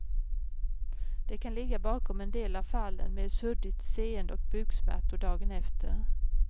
Det kan ligga bakom en del av fallen med suddigt seende och buksmärtor dagen efter.